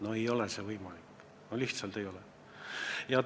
No ei ole see võimalik, lihtsalt ei ole!